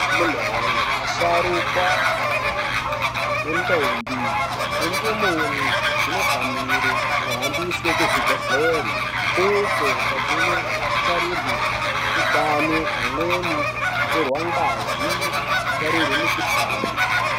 Amuna woye, asharukwa, majaha, nentombi, nendumure dzinofanire kuhambiswe kuzvibhedhlera uko kwadzinotarirwe utano, pamweni kutorwa ngazi, kutarirwe mikuhlani.